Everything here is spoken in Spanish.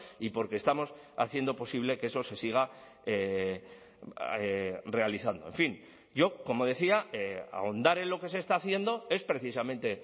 y porque estamos haciendo posible que eso se siga realizando en fin yo como decía ahondar en lo que se está haciendo es precisamente